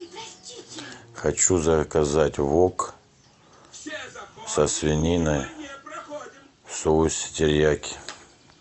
хочу заказать вок со свининой в соусе терияки